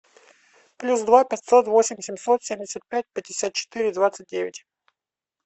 плюс два пятьсот восемь семьсот семьдесят пять пятьдесят четыре двадцать девять